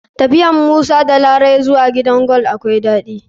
Tafiyar musa da larai zuwa gidan gold akwai daɗi.